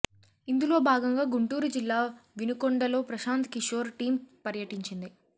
ఇందులో భాగంగా గుంటూరు జిల్లా వినుకొండలో ప్రశాంత్ కిశోర్ టీమ్ పర్యటించింది